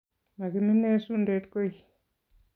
Makiminei sundet goi.